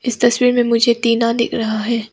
इस तस्वीर में मुझे टीना दिख रहा है।